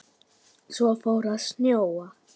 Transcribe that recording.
Svo fór að snjóa.